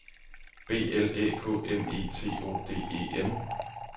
B L Æ K M E T O D E N